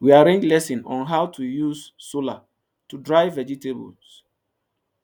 we arrange lesson on how to use solar to dry vegetables